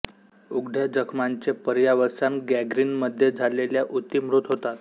उघड्या जखमांचे पर्यावसान गॅंग्रीनमध्ये झाल्याने उती मृत होतात